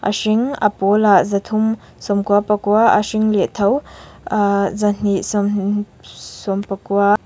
a hring a pawlah zathum sawmkua pakua a hring leh tho ahh zahnih sawm sawmpakua.